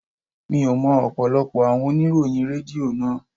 Mi ò mọ ọ̀pọ̀lọpọ̀ àwọn oníròyìn Rédíò náà.